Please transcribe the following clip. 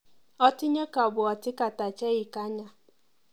Atinye kabwatik ata cheikanya?